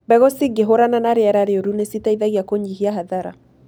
Mbegũ cingĩhũrana na rĩera rĩũru nĩ citeithagia kũnyihia hathara.